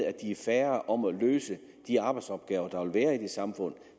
at de er færre om at løse de arbejdsopgaver der vil være i det samfund